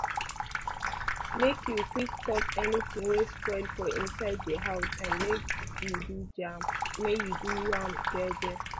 make you quick talk any ting wey spoil for inside di house and make u do am je je